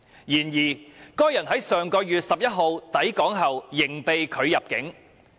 然而，該人於上月11日抵港後仍被拒入境。